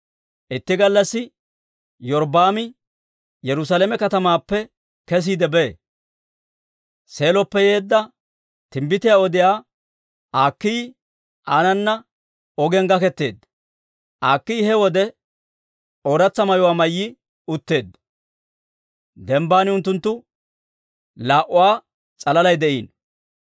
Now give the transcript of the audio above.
Itti gallassi Iyorbbaami Yerusaalame katamaappe kesiide bee; Seeloppe yeedda, timbbitiyaa odiyaa Akiiyi aanana ogiyaan gaketeedda. Akiiyi he wode ooratsa mayuwaa mayyi utteedda. Dembban unttunttu laa"uwaa s'alalay de'iino.